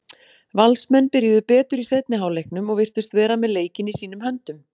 Valsmenn byrjuðu betur í seinni hálfleiknum og virtust vera með leikinn í sínum höndum.